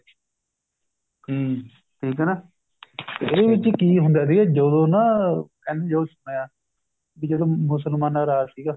ਹਮ ਠੀਕ ਹੈ ਨਾ ਇਹਦੇ ਵਿੱਚ ਕੀ ਹੁੰਦਾ ਸੀ ਜਦੋ ਨਾ ਵੀ ਜਦੋਂ ਮੁਸਲਮਾਨਾ ਦਾ ਰਾਜ ਸੀਗਾ